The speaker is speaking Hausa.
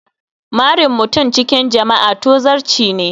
Marin mutum cikin jama'a tozarci ne